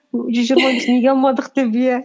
ү жүз жиырма бес неге алмадық деп иә